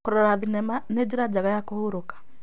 Kũrora thenema nĩ njĩra njega ya kũhurũka.